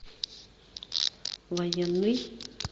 военный